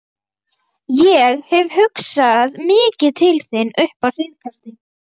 Ég hef hugsað mikið til þín upp á síðkastið.